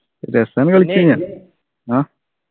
രസാണ് കളിക്കുന്നെ അഹ്